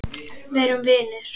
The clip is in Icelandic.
Verum vinir.